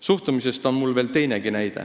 Suhtumise kohta on mul veel teinegi näide.